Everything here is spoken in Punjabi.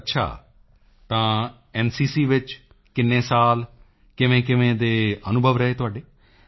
ਅੱਛਾ ਤਾਂ ਐਨਸੀਸੀ ਵਿੱਚ ਕਿੰਨੇ ਸਾਲ ਕਿਵੇਂਕਿਵੇਂ ਦੇ ਅਨੁਭਵ ਰਹੇ ਤੁਹਾਡੇ